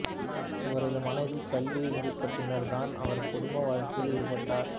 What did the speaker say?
இவரது மனைவி கல்வியை முடித்த பின்னர்தான் அவர் குடும்ப வாழ்க்கையில் ஈடுபட்டார்